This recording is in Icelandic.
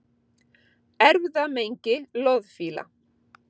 Erfðamengi loðfíla